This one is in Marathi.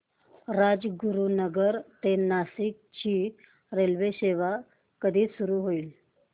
राजगुरूनगर ते नाशिक ची रेल्वेसेवा कधी सुरू होईल